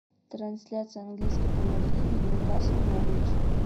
трансляция английской премьер лиги ньюкасл норвич